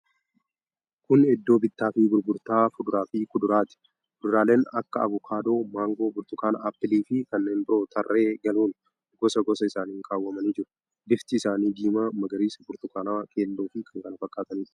Kun iddoo bittaa fi gurgurtaa fuduraa fi kuduraati. Fuduraaleen akka avokaadoo, maangoo, burtukaana, appilii fi kanneen biroo tarree galuun gosa gosa isaaniin kawwamanii jiru. Bifti isaanii diimaa, magariisa, burtukaanawaa, keelloo fi kan kana fakkaatanidha.